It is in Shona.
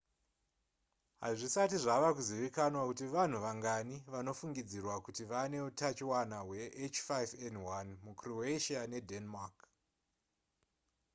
hazvisati zvava kuzivikanwa kuti vanhu vangani vanofungidzirwa kuti vane utachiona hweh5n1 mucroatia nedenmark